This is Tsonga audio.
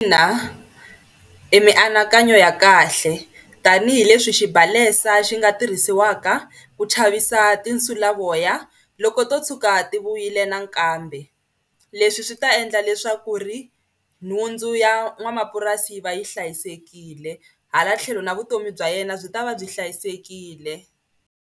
Ina i mianakanyo ya kahle tanihileswi xibalesa xi nga tirhisiwaka ku chavisa tinsulavoya loko to tshuka ti vuyile nakambe. Leswi swi ta endla leswaku ri nhundzu ya n'wamapurasi yi va yi hlayisekile hala tlhelo na vutomi bya yena byi ta va byi hlayisekile.